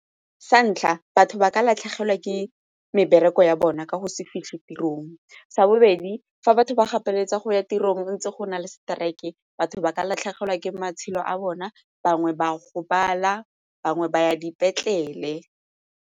Sa ntlha, batho ba ka latlhegelwa ke mebereko ya bona ka go se fitlhe tirong. Sa bobedi, fa batho ba gapeletsega go ya tirong ntse go na le seteraeke batho ba ka latlhegelwa ke matshelo a bona, bangwe ba gobala, bangwe ba ya dipetlele.